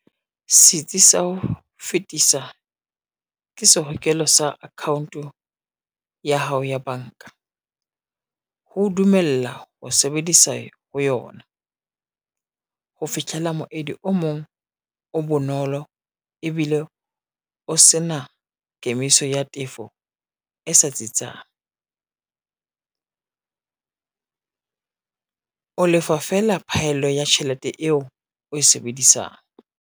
Setsi sa ho fetisa, ke sehokelo sa account ya hao ya banka, ho dumella ho sebedisa ho yona. Ho fitlhela moedi o mong o bonolo ebile o se na kemiso ya tefo e sa tsitsang. O lefa fela phaello ya tjhelete eo o e sebedisang.